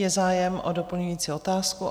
Je zájem o doplňující otázku?